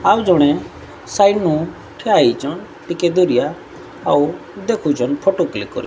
ଆଉ ଜଣେ ସାଇନୁ ଠିଆ ହେଇଛନ ଟିକେ ଦୂରିଆ ଆଉ ଦେଖୁଚନ୍ ଫଟ କ୍ଳିକ୍ କରି --